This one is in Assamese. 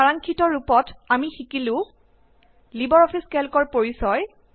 সাৰাংক্ষিত ৰূপত আমি শিকিলো লিবাৰ অফিচ কেল্কৰ পৰিচয়